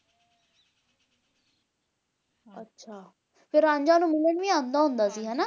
ਅੱਛਾ ਤੇ ਰਾਂਝਾ ਓਹਨੂੰ ਮਿਲਣ ਵੀ ਆਂਦਾ ਹੁੰਦਾ ਸੀ ਹੈ ਨਾ